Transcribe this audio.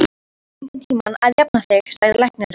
Þú verður einhvern tíma að jafna þig, sagði læknirinn.